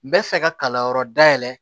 N bɛ fɛ ka kalanyɔrɔ dayɛlɛ